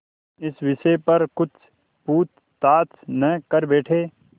इस विषय पर कुछ पूछताछ न कर बैठें